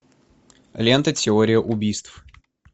лента теория убийств